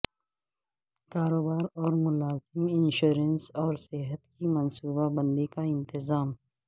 کاروبار اور ملازم انشورنس اور صحت کی منصوبہ بندی کا انتظام